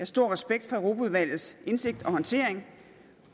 stor respekt for europaudvalgets indsigt og håndtering